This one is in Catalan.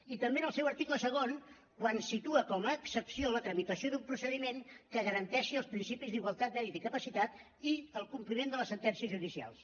i també en el seu article segon quan situa com a excepció la tramitació d’un procediment que garanteixi els principis d’igualtat mèrit i capacitat i el compliment de les sentències judicials